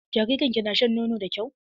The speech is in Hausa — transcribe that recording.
Jaririn ki na shan nono da kyau?